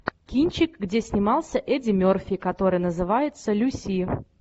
кинчик где снимался эдди мерфи который называется люси